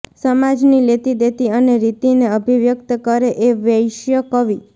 સમાજની લેતીદેતી અને રીતિને અભિવ્યક્ત કરે એ વૈશ્ય કવિ